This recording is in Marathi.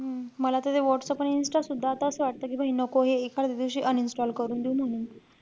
हम्म मला त ते व्हाट्सअप आणि insta सुद्धा असं वाटतं कि भाई नको हे. एखाद्या दिवशी uninstall करून देऊ म्हणून.